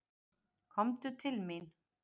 Komdu til mín.